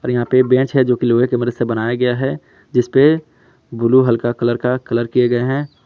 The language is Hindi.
यहां पे बेंच है जोकि लोहे के मदद से बनाया गया है जिसपे ब्लू हल्का कलर का कलर किएं गए है।